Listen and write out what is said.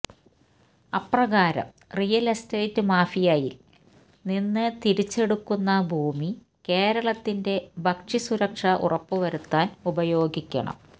അപ്രകാരം real estate മാഫിയയിൽ നിന്ന് തിരിച്ചെടുക്കുന്ന ഭൂമി കേരളത്തിന്റെ ഭക്ഷ്യസുരക്ഷ ഉറപ്പുവരുത്താൻ ഉപയോഗിക്കണം